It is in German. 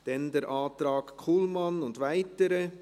Dann der Antrag Kullmann und weitere.